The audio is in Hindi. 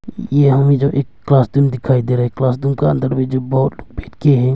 यह हमें जो एक क्लासरूम दिखाई दे रहा है क्लासरूम के अंदर में जो बहुत बैठ के है।